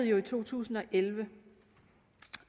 jo i to tusind og elleve